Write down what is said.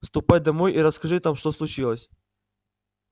ступай домой и расскажи там что случилось